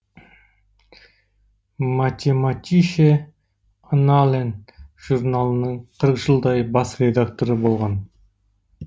математише аннален журналының қырық жылдай бас редакторы болған